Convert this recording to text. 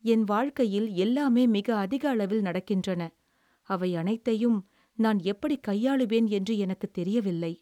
"என் வாழ்க்கையில் எல்லாமே மிக அதிக அளவில் நடக்கின்றன. அவை அனைத்தையும் நான் எப்படிக் கையாளுவேன் என்று எனக்குத் தெரியவில்லை"